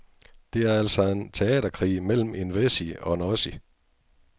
Det er altså en teaterkrig mellem en wessie og en ossie.